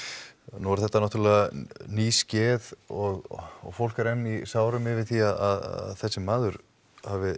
nú er þetta náttúrlega nýskeð og fólk er enn í sárum yfir því að þessi maður hafi